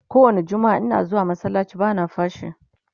kowani jummaa Ina zuwa masallaci bana fashii